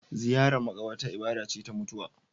Ziyarar makabarta ibada ce ta mutuwa.